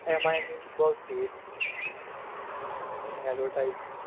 એમાં એની જ બઉ થઇ હમ advertise